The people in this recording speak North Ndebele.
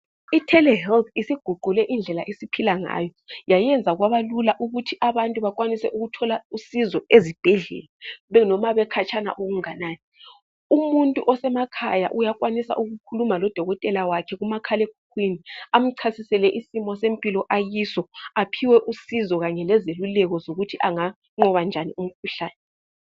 ITelehealth isiguqule indlela aphila ngayo yayenza kwabalula abantu ukuthi abantu bakwanike ukuthola usizo ezibhedlela benoma bekhatshana okunganani umuntu osemakhaya uyakwanisa ukukhuluma lodokotela wakhe kumakhalemkhukhwini amchasisele isimilo sempilo akiso aphiwe usizo kanye lezeluleko zokuthi anganqoba njani imkhuhlane.